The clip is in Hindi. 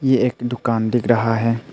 ये एक दुकान दिख रहा है।